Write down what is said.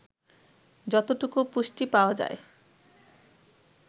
যতটুকু পুষ্টি পাওয়া যায়